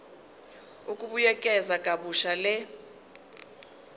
ukubuyekeza kabusha le